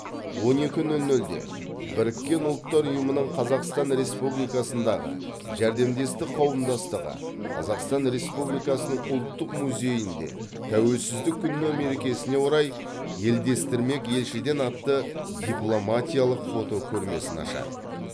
он екі нөл нөлде біріккен ұлттар ұйымының қазақстан республикасындағы жәрдемдестік қауымдастығы қазақстан республикасының ұлттық музейінде тәуелсіздік күні мерекесіне орай елдестірмек елшіден атты дипломатиялық фотокөрмесін ашады